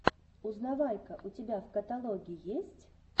узнавайка у тебя в каталоге есть